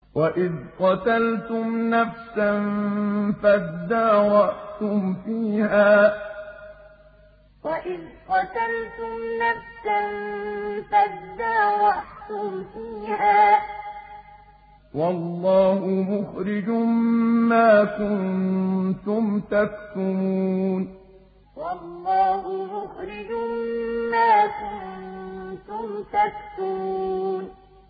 وَإِذْ قَتَلْتُمْ نَفْسًا فَادَّارَأْتُمْ فِيهَا ۖ وَاللَّهُ مُخْرِجٌ مَّا كُنتُمْ تَكْتُمُونَ وَإِذْ قَتَلْتُمْ نَفْسًا فَادَّارَأْتُمْ فِيهَا ۖ وَاللَّهُ مُخْرِجٌ مَّا كُنتُمْ تَكْتُمُونَ